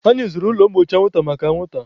Anyị zụrụ ụlọ mgbochi anwụnta maka anwụnta.